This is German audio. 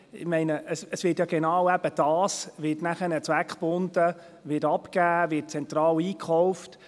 Ich meine, genau dies wird zweckgebunden abgegeben, wird zentral eingekauft;